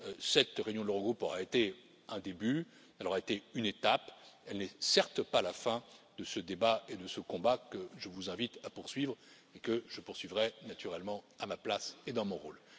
Cette réunion de l'Eurogroupe aura été un début, elle aura été une étape, elle n'est certes pas la fin de ce débat et de ce combat que je vous invite à poursuivre et que je poursuivrai naturellement à ma place et dans mon rôle.